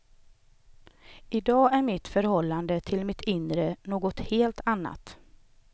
I dag är mitt förhållande till mitt inre något helt annat.